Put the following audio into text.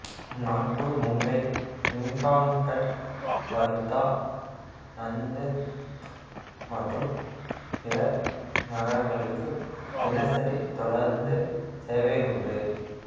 நாக்பூர் மும்பை ஹிங்காங்கட் வர்தா நந்தேத் மற்றும் பிற நகரங்களுக்கு தினசரி தொடருந்து சேவை உண்டு